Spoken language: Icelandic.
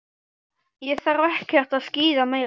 Ég þarf ekkert að skíða meira.